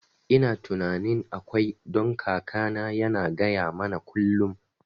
Ina tunanin akwai, don kakana yana gaya mana kullum